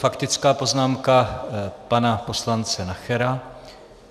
Faktická poznámka pana poslance Nachera.